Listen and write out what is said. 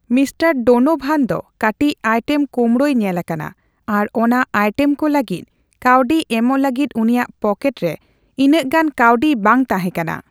ᱢᱤᱺ ᱰᱳᱱᱳᱵᱷᱟᱱ ᱫᱚ ᱠᱟᱹᱴᱤᱡ ᱟᱭᱴᱮᱢ ᱠᱳᱢᱲᱳᱭᱮ ᱧᱮᱞᱟᱠᱟᱱᱟ ᱟᱨ ᱚᱱᱟ ᱟᱭᱴᱮᱢ ᱠᱚ ᱞᱟᱹᱜᱤᱫ ᱠᱟᱹᱣᱰᱤ ᱮᱢᱚᱜ ᱞᱟᱹᱜᱤᱫ ᱩᱱᱤᱭᱟᱜ ᱯᱚᱠᱮᱴ ᱨᱮ ᱤᱱᱟᱹᱜ ᱜᱟᱱ ᱠᱟᱹᱣᱰᱤ ᱵᱟᱝ ᱛᱟᱦᱮᱸᱠᱟᱱᱟ ᱾